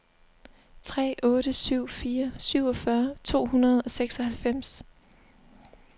tre otte syv fire syvogfyrre to hundrede og seksoghalvfems